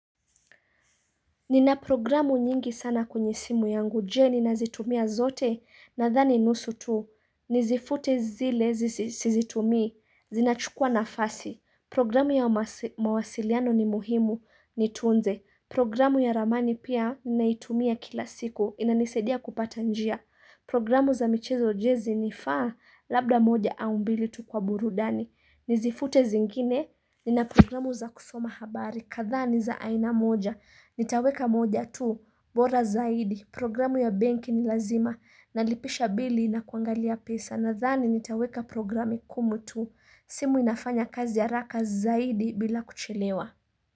Nina programu nyingi sana kwenye simu yangu, jee ninazitumia zote nadhani nusu tu, nizifute zile sizitumi, zinachukua nafasi, programu ya mawasiliano ni muhimu, nitunze, programu ya ramani pia naitumia kila siku, inanisadia kupata njia, programu za michezo jezi nifaa labda moja au mbili tu kwa burudani, nizifute zingine, nina programu za kusoma habari, kadhaa ni za aina moja, Nitaweka moja tu, bora zaidi, programu ya benki ni lazima Nalipisha bili na kuangalia pesa Nadhani nitaweka programi kumi tu, simu inafanya kazi haraka zaidi bila kuchelewa.